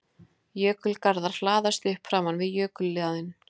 Jökulgarðar hlaðast upp framan við jökuljaðarinn.